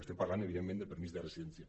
estem parlant evidentment del permís de residència